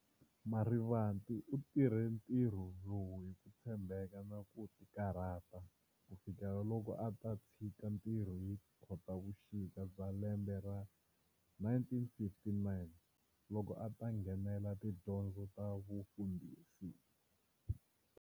Marivate u tirhe ntirho lowu hi ku tshembeka na ku tikarhata, kufikela loko a ta tshika ntirho hi Khotavuxika bya lembe ra 1959, loko ata nghenela tidyondzo ta vufundhisi.